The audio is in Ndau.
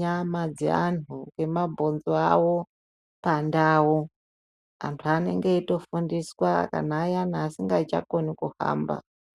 nyama dzevantu nemabonzo avo pandau. Antu anenge eitofundiswa kana ayani asingachakoni kuhamba.